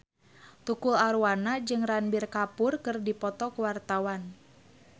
Tukul Arwana jeung Ranbir Kapoor keur dipoto ku wartawan